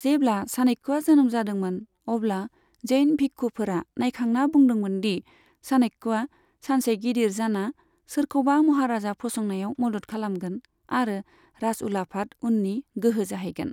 जेब्ला चाणक्यआ जोनोम जादोंमोन, अब्ला जैन भिक्षुफोरा नायखांना बुंदोंमोन दि चाणक्यआ सानसे गिदिर जाना सोरखौबा महाराजा फसंनायाव मदद खालामगोन आरो राजउलाफाद उननि गोहो जाहैगोन।